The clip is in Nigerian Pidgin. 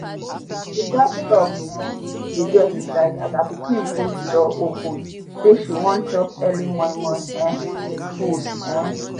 she jus stop um dey do exercise as her pikin push door open say she wan chop early momo um food um